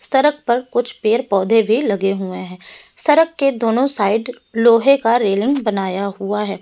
सड़क पर कुछ पेड़ पौधे भी लगे हुए हैं सड़क के दोनों साइड लोहे का रेलिंग बनाया हुआ है।